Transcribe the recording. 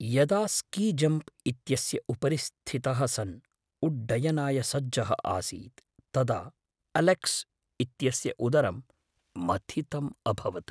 यदा स्कीजम्प् इत्यस्य उपरि स्थितः सन् उड्डयनाय सज्जः आसीत् तदा अलेक्स् इत्यस्य उदरं मथितम् अभवत्।